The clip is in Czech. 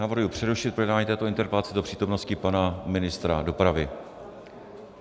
Navrhuji přerušit projednávání této interpelace do přítomnosti pana ministra dopravy.